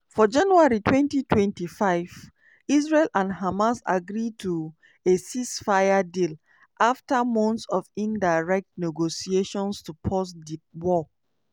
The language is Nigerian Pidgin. for january 2025 israel and hamas agree to a ceasefire deal - afta months of indirect negotiations - to pause di war.